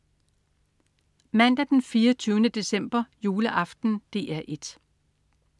Mandag den 24. december. Juleaften - DR 1: